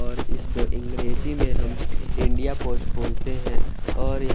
और इसको अंग्रेजी में हम इंडिया पोस्ट बोलते है और ये--